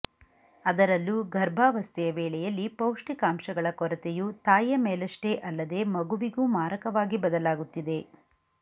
ಅದರಲ್ಲೂ ಗರ್ಭಾವಸ್ಥೆಯ ವೇಳೆಯಲ್ಲಿ ಪೌಷ್ಟಿಕಾಂಶಗಳ ಕೊರತೆಯು ತಾಯಿಯ ಮೇಲಷ್ಟೇ ಅಲ್ಲದೇ ಮಗುವಿಗೂ ಮಾರಕವಾಗಿ ಬದಲಾಗುತ್ತಿದೆ